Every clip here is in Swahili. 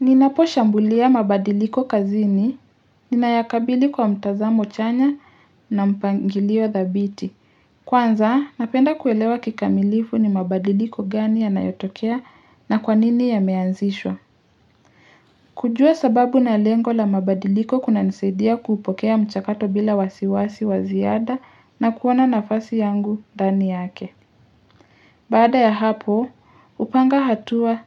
Ninapo shambulia mabadiliko kazini, ninayakabili kwa mtazamo chanya na mpangilio thabiti. Kwanza, napenda kuelewa kikamilifu ni mabadiliko gani ya nayotokea na kwanini yameanzishwa. Kujua sababu na lengo la mabadiliko kuna nisadia kuupokea mchakato bila wasiwasi wa ziada na kuona nafasi yangu ndani yake. Baada ya hapo, upanga hatua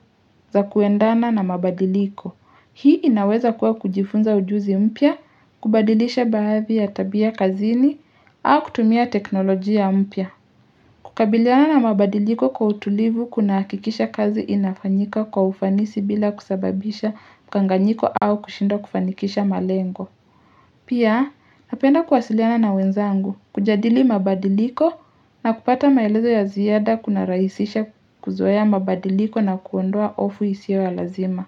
za kuendana na mabadiliko. Hii inaweza kuwa kujifunza ujuzi mpya, kubadilisha baadhi ya tabia kazini, au kutumia teknolojia mpya. Kukabiliana na mabadiliko kwa utulivu kuna hakikisha kazi inafanyika kwa ufanisi bila kusababisha mkanganiko au kushindo kufanikisha malengo. Pia, napenda kuwasiliana na wenzangu, kujadili mabadiliko na kupata maelezo ya ziada kuna raisisha kuzoaya mabadiliko na kuondoa hofu isiyo ya lazima.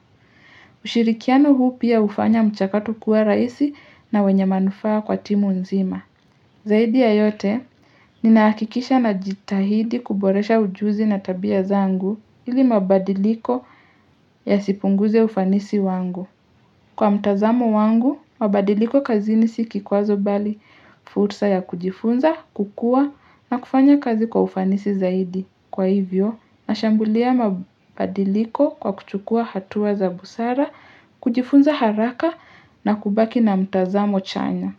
Ushirikiano huu pia ufanya mchakato kuwa rahisi na wenye manufaa kwa timu nzima. Zaidi ya yote, ninahakikisha na jitahidi kuboresha ujuzi na tabia zangu ili mabadiliko yasipunguze ufanisi wangu. Kwa mtazamo wangu, mabadiliko kazi sikikwazo bali, fursa ya kujifunza, kukua na kufanya kazi kwa ufanisi zaidi. Kwa hivyo, nashambulia mabadiliko kwa kuchukua hatua za busara, kujifunza haraka na kubaki na mtazamo chanya.